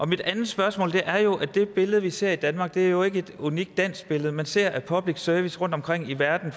mit andet spørgsmål er at det billede vi ser i danmark jo ikke er et unikt dansk billede man ser for øjeblikket at public service rundtomkring i verden